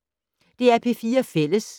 DR P4 Fælles